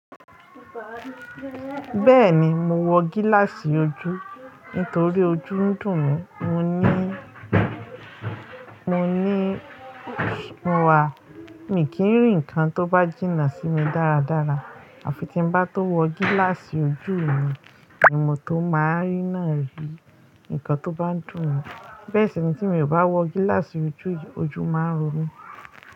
Bẹ́ẹ̀ni, mo wọ gíláàsì ojú nítorí ojú ń dùn mí, mo ní, mo ní, mo wà, mi kì n rí nǹkan tó bá jìnnà sí mi dáradára àfi tí n bá tó wọ gíláàsì ojú mi ni mo tó máa n rí náà ri, nǹkan tó bá ń dùn mí. Bẹ́ẹ̀ sì ni tí mi ò bá wọ gíláàsì ojú, ojú máa ń ro mí.